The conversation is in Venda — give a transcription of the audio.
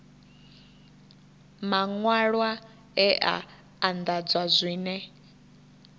maṅwalwa e a anḓadzwa zwine